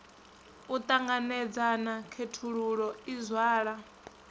u ṱanganedzana khethululo i zwala